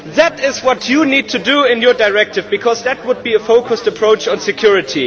That is what you need to do in your directive, Mr Avramopoulos, because that would be a focused approach on security.